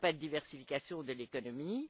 il n'y a pas de diversification de l'économie.